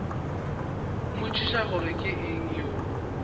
mmotšiša gore ke eng o